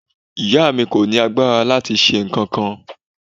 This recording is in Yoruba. Ìyá mi kò ní agbára láti ṣe nǹkankan.